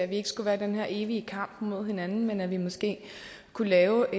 vi ikke skulle være i den her evige kamp mod hinanden men at vi måske kunne lave